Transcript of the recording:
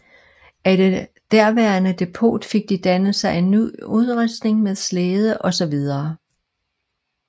Af det derværende depot fik de dannet sig en ny udrustning med slæde og så videre